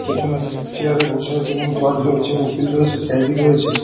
পেছনের চেয়ার -এ বসে আছে জজ রয়েছে উকিল রয়েছে ক্যাদি রয়েছে।